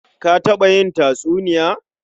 Ka taɓa yin tatsuniya?